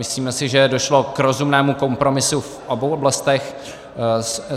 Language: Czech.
Myslíme si, že došlo k rozumnému kompromisu v obou oblastech.